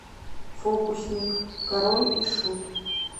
фокусник король и шут